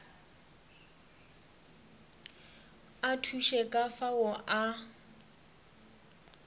a thuše ka fao a